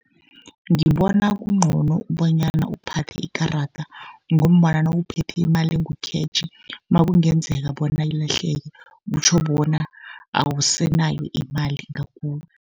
Ngibona kuncono bonyana uphathe ikarada, ngombana nawuphethe imali engukhetjhi nakungenzeka bona ilahleke, kutjho bona awusenayo imali ngakuwe.